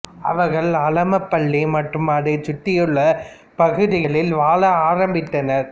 அவர்கள் அலமபள்ளி மற்றும் அதைச் சுற்றியுள்ள பகுதிகளில் வாழ ஆரம்பித்தனர்